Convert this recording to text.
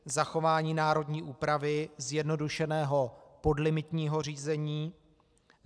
Zachování národní úpravy zjednodušeného podlimitního řízení.